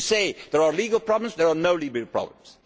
You say there are legal problems there are no legal problems.